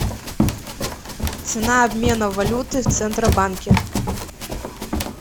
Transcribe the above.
цена обмена валюты в центробанке